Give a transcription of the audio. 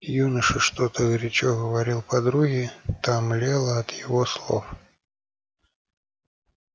юноша что-то горячо говорил подруге та млела от его слов